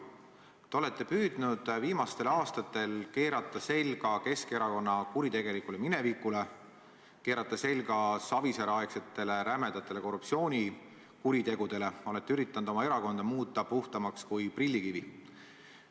Te olete püüdnud viimastel aastatel keerata selga Keskerakonna kuritegelikule minevikule, keerata selga Savisaare-aegsetele rämedatele korruptsioonikuritegudele, olete üritanud oma erakonda muuta puhtamaks kui prillikivi.